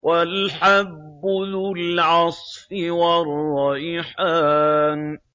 وَالْحَبُّ ذُو الْعَصْفِ وَالرَّيْحَانُ